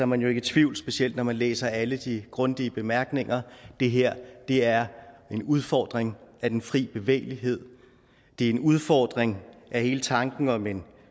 man jo ikke i tvivl specielt ikke når man læser alle de grundige bemærkninger det her er en udfordring af den fri bevægelighed det er en udfordring af hele tanken om en